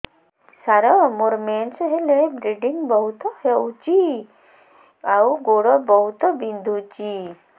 ସାର ମୋର ମେନ୍ସେସ ହେଲେ ବ୍ଲିଡ଼ିଙ୍ଗ ବହୁତ ହଉଚି ଆଉ ଗୋଡ ବହୁତ ବିନ୍ଧୁଚି